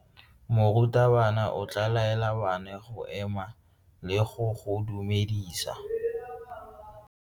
Morutabana o tla laela bana go ema le go go dumedisa.